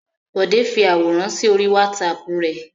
Bọ̀dé fi àwòrán sí orí WhatsApp rẹ̀.